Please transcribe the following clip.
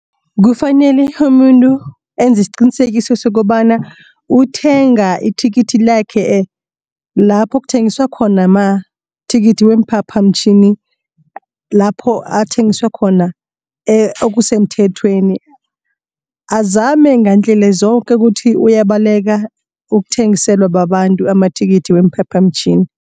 Kufanele umuntu enze isiqinisekiso sokobana uthenga ithikithi lakhe lapho kuthengiswa khona amathikithi weemphaphamtjhini. Lapho athengiswa khona okusemthethweni azame ngeendlela zoke ukuthi uyabaleka ukuthengiselwa babantu amathikithi weemphaphamtjhini.